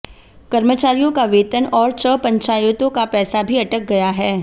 कर्मचारियों का वेतन और छ पंचायतों का पैसा भी अटक गया है